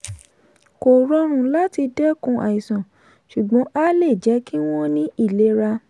kò rọrùn láti dá wọn lẹ́kùn àìsàn ṣùgbọ́n a le jẹ́ kí wọ́n ní ìlera.